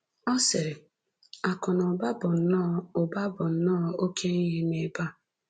Ọ sịrị: Akụ na ụba bụ nnọọ ụba bụ nnọọ oké ihe n’ebe a.